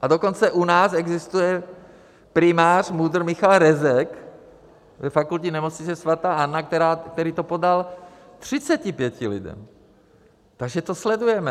A dokonce u nás existuje primář MUDr. Michal Rezek ve Fakultní nemocnici sv. Anny, který to podal 35 lidem, takže to sledujeme.